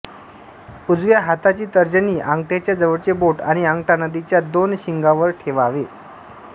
उजव्या हाताची तर्जनी अंगठ्याच्या जवळचे बोट आणि अंगठा नंदीच्या दोन शिंगांवर ठेवावे